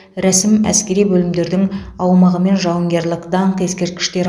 рәсім әскери бөлімдердің аумағы мен жауынгерлік даңқ ескерткіштері